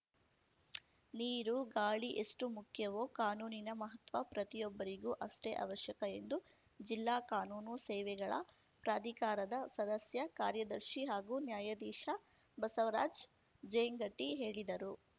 ನೀರು ಗಾಳಿ ಎಷ್ಟುಮುಖ್ಯವೋ ಕಾನೂನಿನ ಮಹತ್ವ ಪ್ರತಿಯೊಬ್ಬರಿಗೂ ಅಷ್ಟೇ ಅವಶ್ಯಕ ಎಂದು ಜಿಲ್ಲಾ ಕಾನೂನು ಸೇವೆಗಳ ಪ್ರಾಧಿಕಾರದ ಸದಸ್ಯ ಕಾರ್ಯದರ್ಶಿ ಹಾಗೂ ನ್ಯಾಯಾಧೀಶ ಬಸವರಾಜ್‌ ಜೇಂಗಟಿ ಹೇಳಿದರು